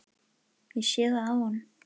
Ég sé það á honum.